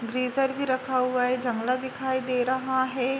ग्रिजर भी रखा हुआ है। जंगला दिखाई दे रहा हे।